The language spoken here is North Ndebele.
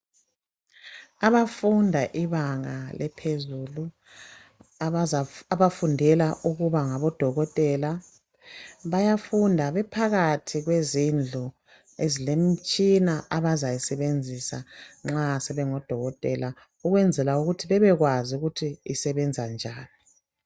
Abafunda ibanga lephezulu abafundela ukuba ngabodokotela bayafunda bephakathi kwezindlu ezilemitshina abazayisebenzisa nxa sebengodokotela ukwenzela ukuthi babekwazi ukuthi isebenza njani.